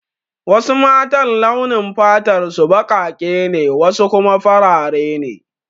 Wasu matan launin fatar su baƙaƙe ne wasu kuma farare ne